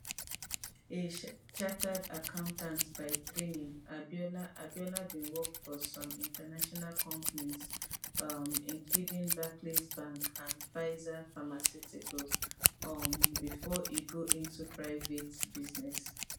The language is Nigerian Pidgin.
a chartered accountant by training abiola abiola bin work for some international companies um including barclays bank and pfizer pharmaceuticals um bifor e go into private business